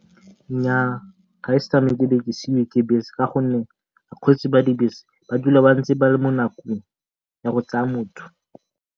Nnyaa, ga ise ke tsamaye be ke seiwe ke bese ka gonne bakgweetsi ba dibese ba phela ba ntse ba le mo nakong ya go tsaya motho.